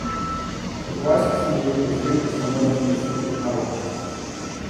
Od vojske sem dobil poziv, da se moram zglasiti v palači.